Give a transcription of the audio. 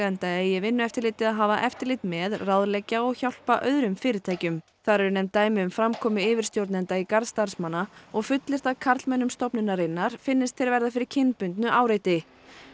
enda eigi Vinnueftirlitið að hafa eftirlit með ráðleggja og hjálpa öðrum fyrirtækjum þar eru nefnd dæmi um framkomu yfirstjórnenda í garð starfsmanna og fullyrt að karlmönnum stofnunarinnar finnist þeir verða fyrir kynbundnu áreiti